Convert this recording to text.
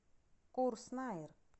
курс найр